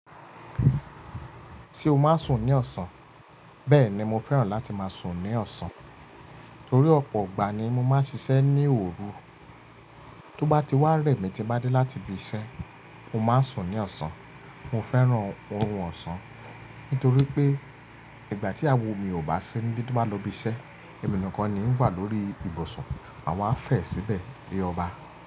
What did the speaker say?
Ṣé o máa ń sùn ní ọ̀sán? Bẹ́ẹ̀ni mo fẹ́ràn láti máa sùn ní ọ̀sán torí ọ̀pọ̀ ìgbà ni mo máa ń ṣiṣẹ́ ní òru. Tó bá ti wá rẹ̀ mí tí n bá dé láti ibi iṣẹ́, mo máa ń sùn ní ọ̀sán. Mo fẹ́ràn orun ọ̀sán nítorí pé ìgbà tí iyàwo mi ò bá sí ní tó bá lọ ibi iṣẹ́, emi ni kan ni ń wà lórí ibùsùn, àwa fẹ síbẹ̀ bí ọba.